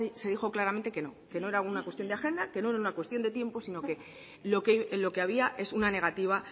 se dijo claramente que no que no era una cuestión de agenda que no era una cuestión de tiempo sino lo que había es una negativa